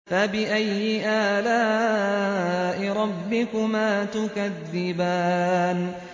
فَبِأَيِّ آلَاءِ رَبِّكُمَا تُكَذِّبَانِ